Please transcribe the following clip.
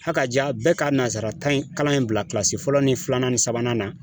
Ha ka ja bɛɛ ka nasarata in kalan in bila kilasi fɔlɔ ni filanan ni sabanan na